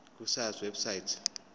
ku sars website